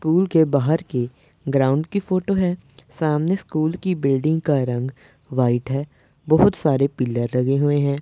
Cool के बाहर की ग्राउंड की फोटो है सामने स्कूल की बिल्डिंग का रंग व्हाइट है बहुत सारे पिलर लगे हुए हैं।